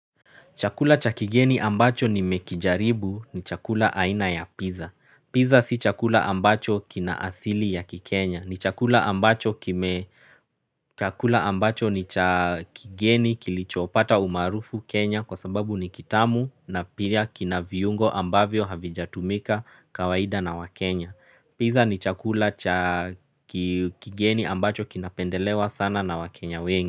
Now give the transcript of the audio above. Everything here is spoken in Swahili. Chakula cha kigeni ambacho nimekijaribu ni chakula aina ya pizza. Pizza si chakula ambacho kina asili ya kikenya. Ni chakula ambacho ni chakigeni kilichopata umarufu Kenya kwa sababu ni kitamu na pia kina viungo ambavyo havijatumika kawaida na wakenya. Pizza ni chakula cha kigeni ambacho kinapendelewa sana na wakenya wengi.